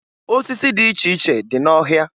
Osisi dị iche dị n'ọhịa.